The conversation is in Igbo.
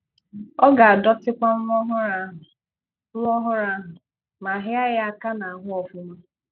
Ọ gā-adọtịkwa nwa ọ́hụrụ ahụ, nwa ọ́hụrụ ahụ, ma hịa ya aka n’ahụ́ ọ́fụ́ma.